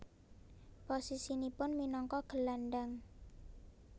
Posisinipun minangka gelandang